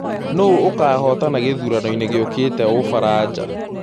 nũũ ũkahotana gĩthũranoĩnĩ gĩũkĩte ũfaraja